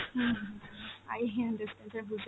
hmm hmm hmm, i hint this pressure, বুঝতে,